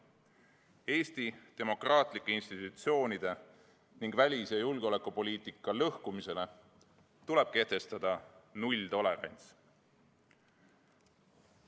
Eesti demokraatlike institutsioonide ning välis- ja julgeolekupoliitika lõhkumisele tuleb kehtestada nulltolerants.